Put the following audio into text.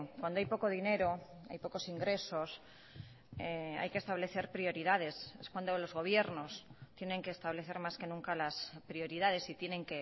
cuando hay poco dinero hay pocos ingresos hay que establecer prioridades es cuando los gobiernos tienen que establecer más que nunca las prioridades y tienen